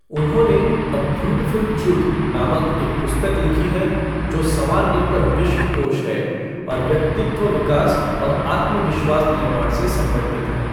उन्होंने 'a beautiful truth' नामक एक पुस्तक लिखी है जो संवारने पर विश्वकोश है और व्यक्तित्व विकास और आत्मविश्वास निर्माण से संबंधित है।